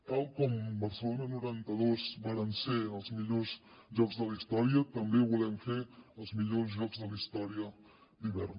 tal com barcelona noranta dos varen ser els millors jocs de la història també volem fer els millors jocs de la història d’hivern